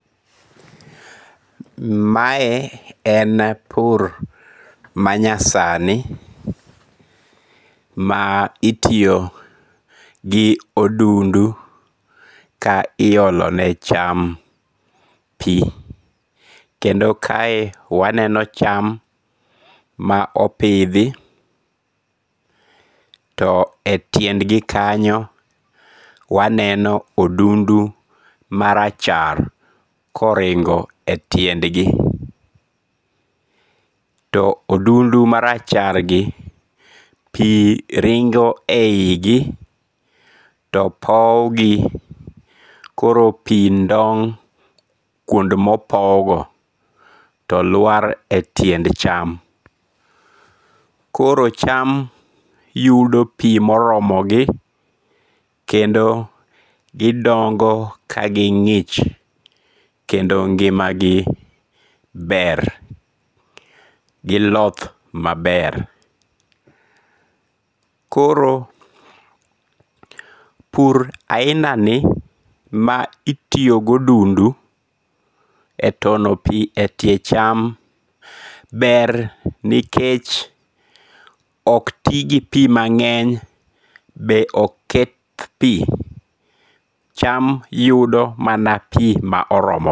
Mae en pur manyasani, ma itiyo gi odundu ka iolone cham pi, kendo kae waneno cham ma opidhi to e tiendgi kanyo waneno odundu marachar koringo e tiendgi. To odundu marachargi pi ringo e igi topowgi koro pi ndong' kuond mopowgo koro pi lwar e tiend cham, koro cham yudo pi moromogi kendo gidongo' kagingi'ch kendo ngi'magi ber, giloth maber. Koro pur ahinani ma otiyo gi odundu e tono pi e tie cham ber nikech ok ti gi pi mange'ny be ok keth pi ,cham yudo mana pi moromo